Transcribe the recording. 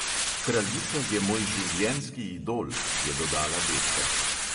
"Kraljica je moj življenjski idol," je dodala betka.